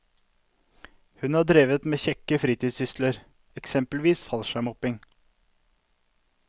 Hun har drevet med kjekke fritidssysler, eksempelvis fallskjermhopping.